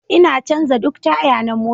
Ina canza duk taya na mota